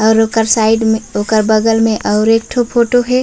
और ओकर साइड में ओकर बगल में आउर एक ठो फोटो हे।